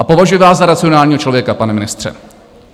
A považuji vás za racionálního člověka, pane ministře.